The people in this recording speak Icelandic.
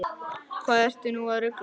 Hvað ertu nú að rugla!